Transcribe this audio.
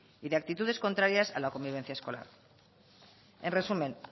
y de actitudes contrarias a la convivencia escolar en resumen